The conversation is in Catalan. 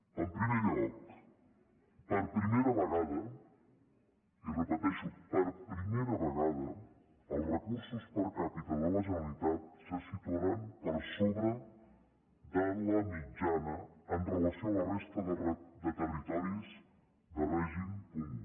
en primer lloc per primera vegada i ho repeteixo per primera vegada els recursos per capitalitat se situaran per sobre de la mitjana amb relació a la resta de territoris de règim comú